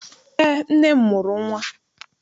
Eé, nne m mụrụ nnwa.